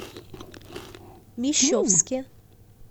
мещовске